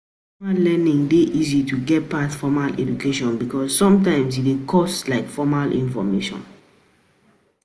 Informal learning dey easy to get pass formal education because sometimes e no dey cost like formal educataion